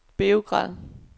Beograd